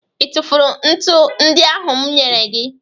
Ị tụfụrụ ntu ndị ahụ m nyere gị